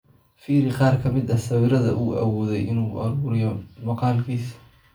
Fiiri qaar ka mid ah sawirada uu awooday in uu ururiyo maqaalkiisa.